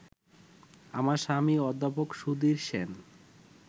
আমার স্বামী অধ্যাপক সুধীর সেন